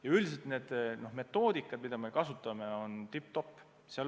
Ja üldiselt need metoodikad, mida me kasutame, on tipp-topp.